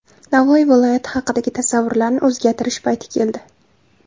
Navoiy viloyati haqidagi tasavvurlarni o‘zgartirish payti keldi.